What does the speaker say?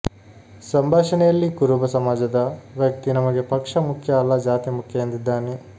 ಸಂಭಾಷಣೆಯಲ್ಲಿ ಕುರುಬ ಸಮಾಜದ ವ್ತಕ್ತಿ ನಮಗೆ ಪಕ್ಷ ಮುಖ್ಯ ಅಲ್ಲ ಜಾತಿ ಮುಖ್ಯ ಎಂದಿದ್ದಾನೆ